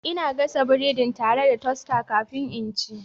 Ina gasa biredina tare da toaster kafin in ci.